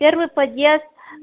первый подъезд